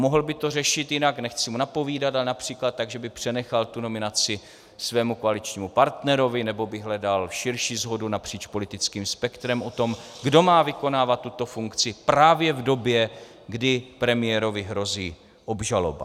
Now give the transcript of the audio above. Mohl by to řešit jinak, nechci mu napovídat, ale například tak, že by přenechal tu nominaci svému koaličnímu partnerovi nebo by hledal širší shodu napříč politickým spektrem o tom, kdo má vykonávat tuto funkci právě v době, kdy premiérovi hrozí obžaloba.